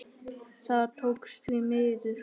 Það tókst, því miður.